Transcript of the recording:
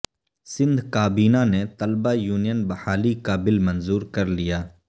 سندھ کابینہ نے طلبہ یونین بحالی کا بل منظور کرلیا